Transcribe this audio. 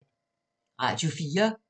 Radio 4